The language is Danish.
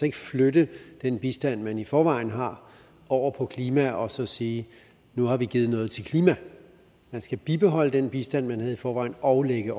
ikke flytte den bistand man i forvejen har over på klima og så sige nu har vi givet noget til klimaet man skal bibeholde den bistand man havde i forvejen og lægge